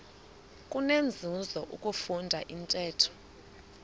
kunenzuzo ukufunda intetho